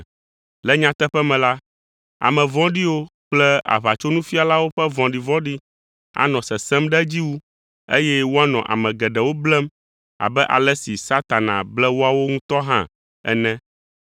Le nyateƒe me la, ame vɔ̃ɖiwo kple aʋatsonufialawo ƒe vɔɖivɔ̃ɖi anɔ sesẽm ɖe edzi wu, eye woanɔ ame geɖewo blem abe ale si Satana ble woawo ŋutɔ hã ene.